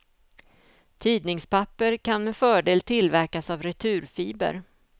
Tidningspapper kan med fördel tillverkas av returfiber.